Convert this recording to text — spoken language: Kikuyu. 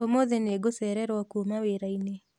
ũmũthĩ nĩngũcererwo kuma wĩra-inĩ